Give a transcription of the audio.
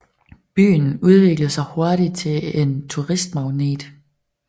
Byen udviklede sig hurtigt til en turistmagnet